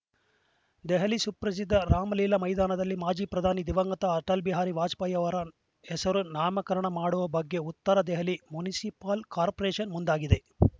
ದೆಹಲಿ ಸುಪ್ರಸಿದ್ಧ ರಾಮಲೀಲಾ ಮೈದಾನದಲ್ಲಿ ಮಾಜಿ ಪ್ರಧಾನಿ ದಿವಂಗತ ಅಟಲ್‌ ಬಿಹಾರಿ ವಾಜಪೇಯಿಯವರ ಹೆಸರು ನಾಮಕರಣ ಮಾಡುವ ಬಗ್ಗೆ ಉತ್ತರ ದೆಹಲಿ ಮುನ್ಸಿಪಲ್‌ ಕಾರ್ಪೊರೇಶನ್‌ ಮುಂದಾಗಿದೆ